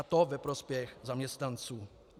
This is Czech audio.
A to ve prospěch zaměstnanců.